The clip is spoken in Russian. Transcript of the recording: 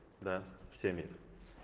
да всеми